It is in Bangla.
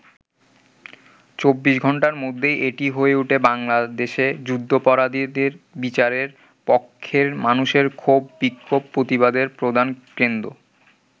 ২৪ ঘন্টার মধ্যেই এটি হয়ে ওঠে বাংলাদেশে যুদ্ধাপরাধীদের বিচারের পক্ষের মানুষের ক্ষোভ-বিক্ষোভ-প্রতিবাদের প্রধান কেন্দ্র।